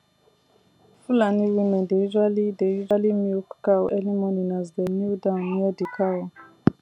fulani women dey usually dey usually milk cow early morning as dem kneel down near the cow